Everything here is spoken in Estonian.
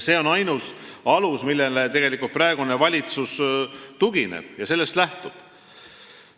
See on ainus alus, millele tegelikult praegune valitsus tugineb ja millest ta lähtub.